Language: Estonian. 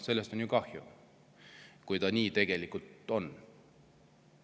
Sellest on ju kahju, kui see nii on.